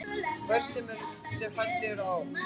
Börn sem fædd eru á